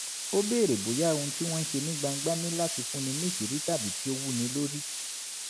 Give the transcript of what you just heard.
ó béèrè bóyá ohun tí wọ́n ń ṣe ní gbangba ní láti fúnni níṣìírí tàbí kí ó wúni lórí